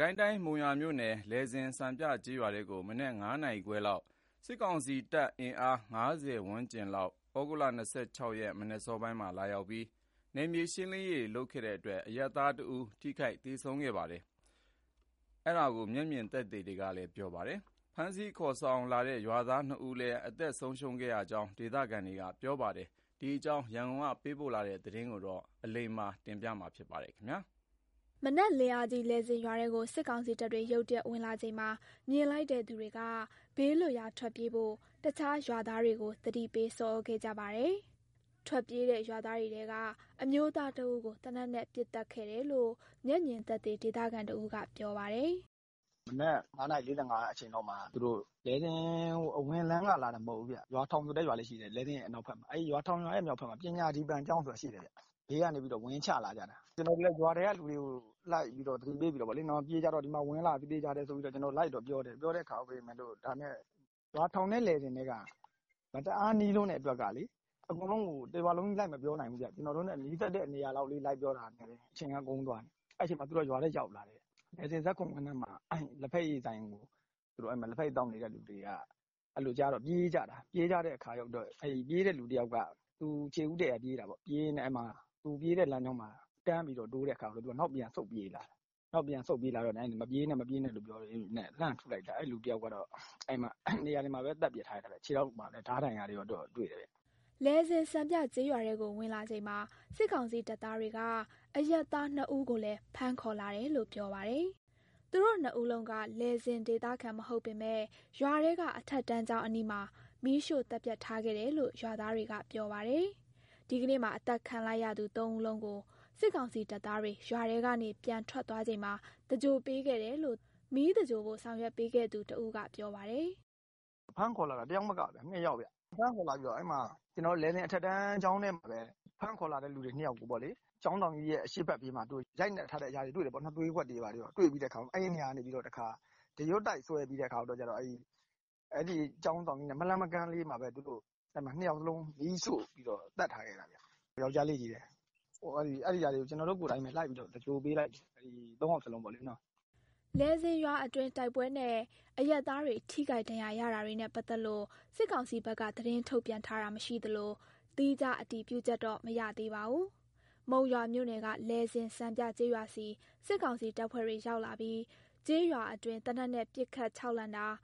ကိုင်းတိုင်း မုံရွာမြို့နယ် လယ်ဇင်စံပြကျေးရွာထဲကို မနက် ၅ နာရီခွဲလောက် စစ်ကောင်စီ အင်အား ၅၀ ဝန်းကျင်လောက် ဩဂုတ်လ ၂၆ ရက် မနက်အစောပိုင်းက ရောက်လာပြီး နယ်မြေရှင်းလင်းရေးလုပ်တဲ့အတွက် အရပ်သားတဦး ထိခိုက်သေဆုံးခဲ့တယ်လို့ မျက်မြင်သက်သေတွေက ပြောပါတယ်။ ဖမ်းဆီးခေါ်ဆောင်လာတဲ့ ရွာသား ၂ ဦးလည်း အသတ်ခံခဲ့ရတဲ့အကြောင်း ဒေသခံတွေနဲ့ စစ်တပ်ပြန်ထွက်သွားတဲ့အချိန် သဂြိုင်္လပေးခဲ့ရသူတွေက ပြောပါတယ်။ ဒီအကြောင်း ရန်ကုန်ကလာတဲ့သတင်းကို အလိမ္မာ ပြောပြမှာပါ။ မနက်လင်းအားကြီး လယ်ဇင်ရွာထဲကို စစ်ကောင်စီတပ်တွေ ရုတ်တရက်ဝင်လာချိန်မှာ မြင်လိုက်တဲ့ သူတွေက ဘးလွတ်ရာထွက်ပြေးဖို့ တခြားရွာသားတွေကို သတိပေး ဆော်သြခဲ့ကြပါတယ်။ ထွက်ပြေးတဲ့ ရွာသားတွေထဲက အမျိုးသားတဦးကို သေနတ်နဲ့ ပစ်သတ်ခဲ့တယ်လို့ မျက်မြင်သက်သေ ဒေသခံတဦးက ပြောပါတယ်။ "လယ်ဇင်အနောက်ဘက်က ရွာထောင်ဆိုတဲ့ရွာရဲ့ အနောက်ဘက်မှာ ပညာဒီပံကျောင်းဆိုတာရှိတယ်။ အဲဒီဘေးကနေ ဝင်ချလာကြတာ။ ကျနော်တို့လည်း ရွာထဲကလူတွေကို ဒီမှာဝင်လာပြီ၊ သေချာတယ်၊ ပြေးကြတော့ဆိုပြီး လိုက်တော့ပြောတယ်။ ဒါပေမဲ့ ရွာထောင် နဲ့ လယ်ဇင် နဲ့ က မတအားနီးလွန်းတော့ အကုန်လုံးကို တရွာလုံး လိုက်မပြောနိုင်ဘူးဗျ။ ကျနော်တို့နဲ့ နီးစပ်တဲ့နေရာလောက်လေး လိုက်ပြောတာ နဲ့ တင် အချိန်ကကုန်သွားတာ။ အဲဒီအချိန်မှာ သူတို့က ရွာထဲရောက်လာတယ်။ လယ်ဇင် ဇာတ်ခုံကွင်းထဲက လက်ဖက်ရည်ဆိုင်မှာ ထိုင်နေသူတွေက အဲလိုကြားတော့ ပြေးကြတာ။ ပြေးတဲ့လူတယောက်က သူခြေဦးတည့်ရာပြေးရင်းနဲ့ တန်းတိုးတော့ နောက်ပြန်ဆုတ်ပြေးလာတာ။ မပြေးနဲ့ မပြေးနဲ့ဆိုပြီး လှမ်းပစ်လိုက်တာ အဲဒီလူတယောက်ကတော့ နေရာမှာတင်ပဲ သတ်ပစ်ခံထားရတာ၊ ခြေထောက်မှာလည်း ဓားဒဏ်ရာတွေ တွေ့တယ်ဗျ။" လယ်ဇင်စံပြကျေးရွာထဲကို ဝင်လာချိန်မှာ စစ်ကောင်စီတပ်သားတွေက အရပ်သား ၂ ဦးကိုလည်း ဖမ်းခေါ်လာတယ်လို့ ပြောပါတယ်။ သူတို့ နှစ်ဦးလုံးက လယ်ဇင်ဒေသခံ မဟုတ်ပေမယ့် ရွာထဲက အထက်တန်းကျောင်းအနီးမှာ မီးရှို့သတ်ဖြတ်ထားခဲ့တယ်လို့ ရွာသားတွေက ပြောပါတယ်။ ဒီကနေ့မှာ အသတ်ခံလိုက်ရသူ ၃ ဦးလုံးကို စစ်ကောင်စီတပ်သားတွေ ရွာထဲကနေ ပြန်ထွက်သွားချိန်မှာ သင်္ဂြိုလ်ပေးခဲ့တယ်လို့ မီးသဂြိုင်္လဖို့ ဆောင်ရွက်ပေးခဲ့သူတဦးက ပြောပါတယ်။ "သူတို့ဖမ်းခေါ်လာတာ ၂ ယောက်ဗျ။ လယ်ဇင်အထက်တန်းကျောင်းထဲမှာပဲ ဖမ်းခေါ်လာသူ ၂ ယောက်ကို ကျောင်းဆောင်ကြီးရဲ့ အရှေ့ဘက်ပြေးမှာ သူတို့ရိုက်နှက်ထားတဲ့ အရာတွေ တွေ့တယ်ပေါ့နော်။ သွေးကွက်တွေ ဘာတွေ တွေ့ပြီးတော့ အဲဒီနေရာကနေ ဒရွတ်တိုက်ဆွဲပြီးတော့ ကျောင်းဆောင်ကြီးရဲ့ မလှမ်းမကမ်းလေးမှာပဲ ၂ ယောက်လုံးကို မီးရှို့ပြီးတော့ သတ်ထားခဲ့တာဗျ၊ ယောကျ်ားလေးချည်းပဲ။ ဒီနေ့ သေဆုံးသူ ၃ ယောက်လုံးကို ကျနော်တို့ကိုယ်တိုင်ပဲ သင်္ဂြိုလ်ပေးလိုက်တယ်။" လယ်ဇင်ရွာအတွင်း တိုက်ပွဲနဲ့ အရပ်သားတွေ ထိခိုက်ဒဏ်ရရတာတွေနဲ့ ပတ်သက်လို့ စစ်ကောင်စီဘက်က သတင်းထုတ်ပြန်တာ မရှိသလို သီးခြားအတည်ပြုချက်တော့ မရသေးပါဘူး။ မုံရွာမြို့နယ်က လယ်ဇင်စံပြကျေးရွာဆီ စစ်ကောင်စီတပ်ဖွဲ့တွေ ရောက်လာပြီး ကျေးရွာအတွင်း သေနတ်နဲ့ပစ်ခတ် ခြောက်လှန့်တာ၊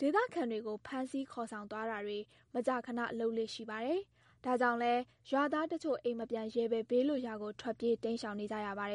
ဒေသခံတွေကို ဖမ်းဆီးခေါ်ဆောင်သွားတာတွေ မကြာခန လုပ်လေ့ရှိပါတယ်။ ဒါကြောင့်လည်း ရွာသားတချို့ အိမ်မပြန်ရဲပဲ ဘေးလွတ်ရာကို ထွက်ပြေးတိမ်း ရှောင်နေကြရပါတယ်